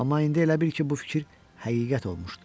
Amma indi elə bil ki, bu fikir həqiqət olmuşdu.